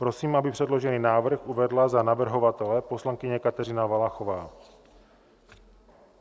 Prosím, aby předložený návrh uvedla za navrhovatele poslankyně Kateřina Valachová.